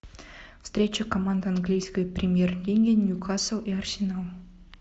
встреча команд английской премьер лиги ньюкасл и арсенал